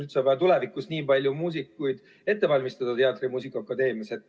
Kas üldse on vaja tulevikus nii palju muusikuid muusika- ja teatriakadeemias ette valmistada?